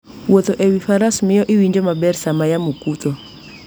Wuotho e wi faras miyo iwinjo maber sama yamo kutho.